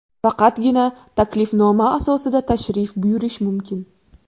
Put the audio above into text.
Faqatgina taklifnoma asosida tashrif buyurish mumkin.